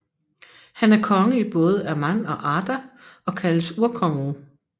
Han er konge i både Aman og Arda og kaldes Urkongen